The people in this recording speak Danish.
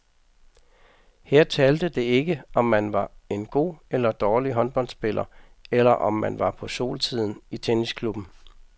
Her talte det ikke, om man var en god eller dårlig håndboldspiller eller om man var på solsiden i tennisklubben.